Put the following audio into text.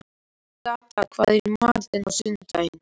Agatha, hvað er í matinn á sunnudaginn?